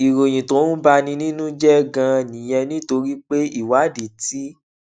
ìròyìn tó ń bani nínú jé ganan nìyẹn nítorí pé ìwádìí ti